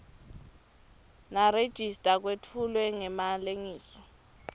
nerejista kwetfulwe ngemalengiso